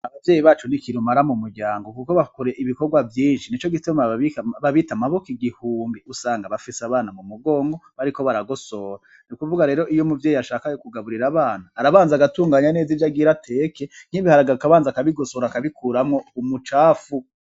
Abavyeyi bacu n'ikirumara mu muryango kuko bakora ibikorwa vyinshi, nico gituma babita mabok'igihumbi , usanga bafis'abana mu migongo bariko baragosora nukuvuga rero iy'umuvyeyi ashaka kugaburir'abana arabanz'agatunganya neza ivy'agira ateke, nk'ibiharage akabanza akabigosora , akabikuramwo umucafu .